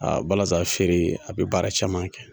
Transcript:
A balazan feere a bi baara caman kɛ.